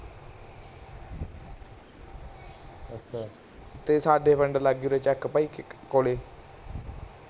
ਤੇ ਸਾਡੇ ਪਿੰਡ ਲੱਗ ਗਯੀ ਚਕ ਭਾਈ ਕੌੜੇ